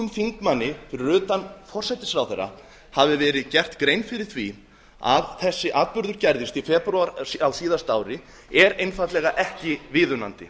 þingmanni fyrir utan forsætisráðherra hafi verið gerð grein fyrir því að þessi atburður gerðist í febrúar á síðasta ári er einfaldlega ekki viðunandi